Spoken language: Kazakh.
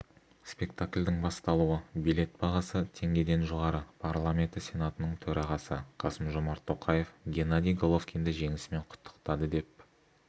спектакльдің басталуы билет бағасы теңгеден жоғары парламенті сенатының төрағасы қасым-жомарт тоқаев геннадий головкинді жеңісімен құттықтады деп